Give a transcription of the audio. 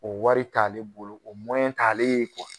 O wari t'ale bolo o t'ale ye